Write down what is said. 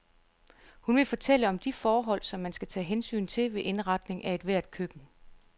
Hun vil fortælle om de forhold, som man skal tage hensyn til ved indretning af ethvert køkken.